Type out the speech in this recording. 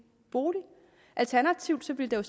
bolig alternativt ville der